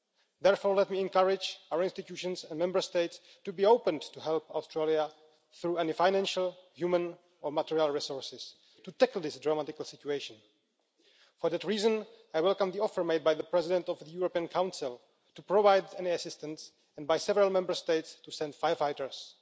Therefore, let me encourage our institutions and Member States to be open to help Australia through any financial, human, or material resources to tackle this dramatic situation. For that reason, I welcome the offer made by the President of the European Council to provide any assistance, and by several Member States to send firefighters.